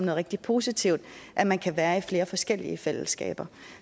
rigtig positivt at man kan være i flere forskellige fællesskaber